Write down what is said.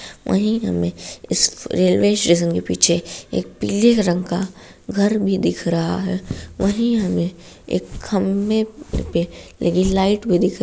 वहीं हमें इस रेलवे स्टेशन के पीछे एक पीले रंग का घर भी दिख रहा है। वहीं हमें एक खम्भे पे लगी लाइट भी दिख रही--